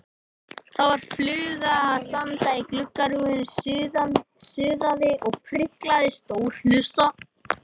Það var fluga að stanga í gluggarúðuna, suðaði og spriklaði, stór hlussa.